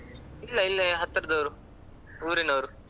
ಇಲ್ಲ ಇಲ್ಲೇ ಹತ್ತಿರ್ದವರು ಊರಿನವರು.